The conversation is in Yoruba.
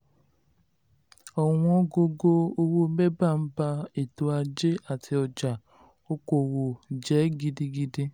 ọ̀wọ́n gógó owó bébà ń ba ètò ajé àti ọjà um okoòwò um jẹ́ um gidigidi.